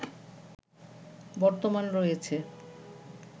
বর্তমান রয়েছে